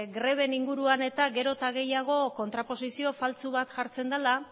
greben inguruan gero eta gehiago kontraposizio faltsu bat jartzen dela